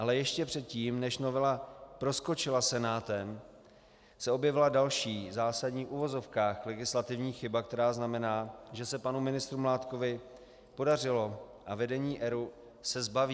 Ale ještě předtím, než novela proskočila Senátem, se objevila další zásadní v uvozovkách legislativní chyba, která znamená, že se panu ministru Mládkovi podařilo a vedení ERÚ se zbaví.